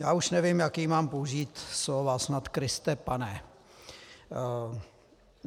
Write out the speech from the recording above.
Já už nevím, jaká mám použít slova - snad Kriste Pane!